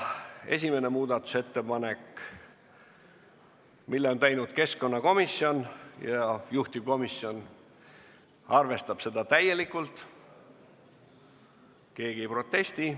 Esimese muudatusettepaneku on teinud keskkonnakomisjon ja juhtivkomisjon arvestab seda täielikult, keegi ei protesti.